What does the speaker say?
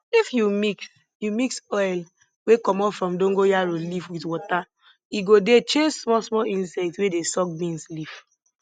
if you mix you mix oil wey comot from dongoyaro leaf with water e go dey chase smallsmall insects wey dey suck beans leaf